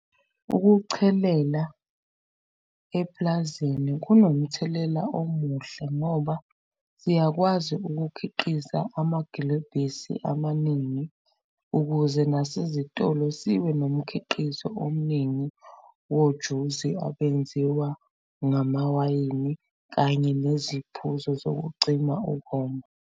Ukuchelela epulazini kunomthelela omuhle ngoba siyakwazi ukukhiqiza amagilebhisi amaningi ukuze nasezitolo sibe nomkhiqizo omningi wojuzi abenziwa ngamawayini kanye neziphuzo zokucima ukoma.